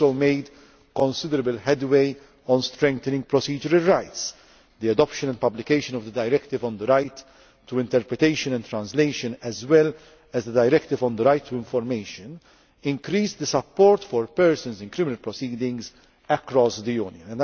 procedure. We have also made considerable headway on strengthening procedural rights. The adoption and publication of the Directive on the right to interpretation and translation, as well as the Directive on the right to information, increases the support for persons in criminal proceedings across